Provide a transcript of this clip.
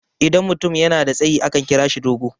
idan mutum yana da tsayi akan kira shi dogo